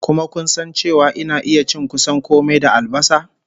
Kuma kun san cewa ina iya cin kusan kome da albasa?